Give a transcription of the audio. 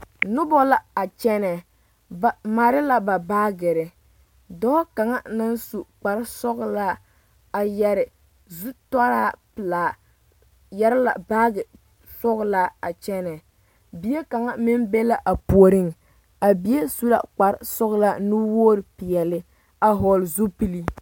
Noba la a kyɛnɛ ba mare la ba baagere dɔɔ kaŋa naŋ su kpar sɔgelaa a yɛrɛ zutaraa pelaa are yɛrɛ la baagi sɔgelaa kyɛnɛ bie kaŋa meŋ be la a puoriŋ a bie su la kpar sɔgelaa nuwoo peɛle a hɔgele zupili